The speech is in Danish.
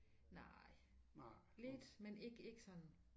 Nej lidt men ikke ikke sådan